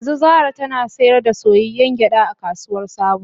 Yanzu Zara tana sayar da soyayyen gyada a kasuwar sabo